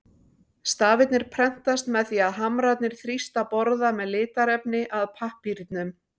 Stafirnir prentast með því að hamrarnir þrýsta borða með litarefni að pappírnum.